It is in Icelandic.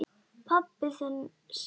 Pabbi þinn sefur.